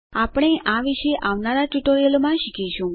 આપણે આ વિશે આવનારા ટ્યુટોરીયલોમાં શીખીશું